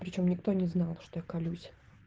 при чём никто не знал что я колюсь